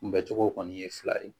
Kunbɛcogo kɔni ye fila ye